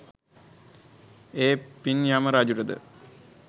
ඒ පින් යම රජුට ද